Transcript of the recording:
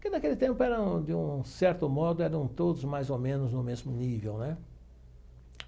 Porque naquele tempo eram, de um certo modo, eram todos mais ou menos no mesmo nível, né?